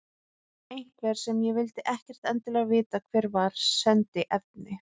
Einhver, sem ég vildi ekkert endilega vita hver var, sendi efni.